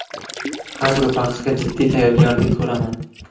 Har bir bahsga jiddiy tayyorgarlik ko‘raman.